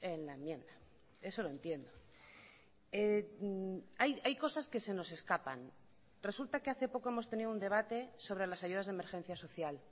en la enmienda eso lo entiendo hay cosas que se nos escapan resulta que hace poco hemos tenido un debate sobre las ayudas de emergencia social